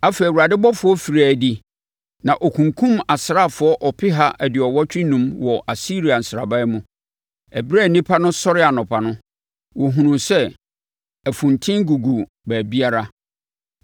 Afei Awurade ɔbɔfoɔ firii adi na ɔkunkumm asraafoɔ ɔpeha aduɔwɔtwe enum wɔ Asiria nsraban mu. Ɛberɛ a nnipa no sɔree anɔpa no, wɔhunuu sɛ afunten gugu baabiara!